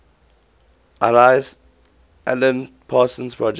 alan parsons project